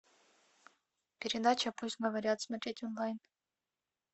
передача пусть говорят смотреть онлайн